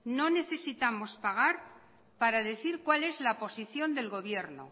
no necesitamos pagar para decir cuál es la posición del gobierno